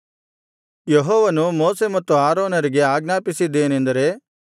ಯೆಹೋವನು ಮೋಶೆ ಮತ್ತು ಆರೋನರಿಗೆ ಆಜ್ಞಾಪಿಸಿದ್ದೇನೆಂದರೆ